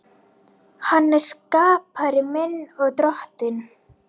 Hann er skapari minn og Drottinn.